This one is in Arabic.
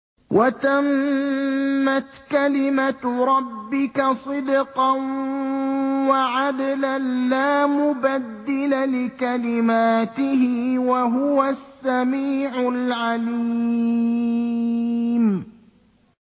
وَتَمَّتْ كَلِمَتُ رَبِّكَ صِدْقًا وَعَدْلًا ۚ لَّا مُبَدِّلَ لِكَلِمَاتِهِ ۚ وَهُوَ السَّمِيعُ الْعَلِيمُ